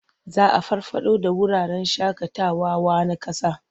Za a farfaɗo da wuraren shaƙawawa na ƙasa.